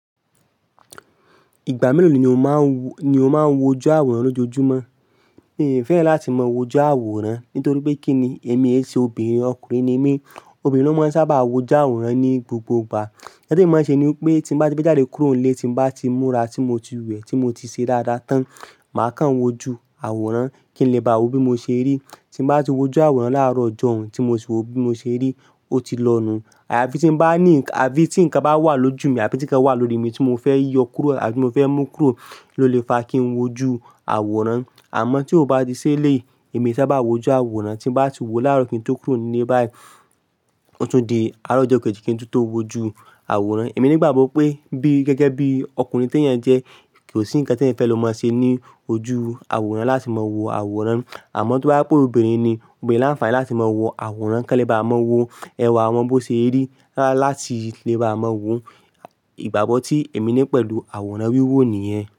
Ìgbà mélòó ni o máa ń woju àwòrán lójoojúmọ́? Mi ò fẹ́ran láti mọ wó oju àwòrán nítorí pé kí ni èmi ẹ ṣe obìnrin, ọkùnrin ni mí. Obìnrin ló máa ń sábà wò ju àwòrán ní gbogbo ìgbà. Nkan tí emi máa ṣe ni pé tí n bá ti fẹ́ jáde kúrò nílé, tí bá ti múra, tí mo ti wẹ̀, tí mo ti ṣe dáadáa tán, màá kàn wò ju àwòrán kí n lè bá wo bi mo ṣe rí. Tí n bá ti wo ju àwòrán láàárọ̀ ọjọ́ un tí mo sì wo bí mo ṣe rí, ó ti lọ nù. Aya fi ti n bá ní àbí tí nǹkan bá wà lójú mi àbí tí nkán wà lórí mi tí mo fẹ́ yọ kúrò àbí tí mo fẹ́ mú kúrò ló lè fa kí n wò oju àwòrán. Àmọ́ tí ó bá ti ṣi eleyi èmi ee sábà wò oju àwòrán tí n bá ti wò láàárọ̀ kí n tó kúrò nílé báyìí, ó tún di àárọ̀ ọjọ́ kejì kí n tun tó wò oju àwòrán. Èmi ní ìgbàgbọ́ pé bí gẹ́gẹ́ bí ọkùnrin tí ènìyàn jẹ́ kí ò sí ǹkan tí ẹ̀yań fẹ́ lọ máa ṣe ní ojú àwòrán láti máa wo àwòrán. Àmọ́ tó bá se pè olóbìnrin ni, obìnrin láǹfààní láti máa wo àwòrán kí wọ́n lè bá mo wò ẹwà wọn bó ṣe rí, láti lè bá mọ wò. Ìgbàgbọ́ tí èmi ní pẹ̀lú àwòrán wúwo nìyẹn.